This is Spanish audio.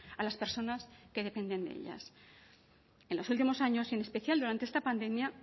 a las personas que dependen de ellas en los últimos años en especial durante esta pandemia